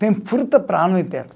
Tem fruta para ano inteiro.